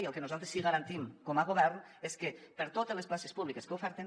i el que nosaltres sí que garantim com a govern és que per a totes les places públiques que ofereixen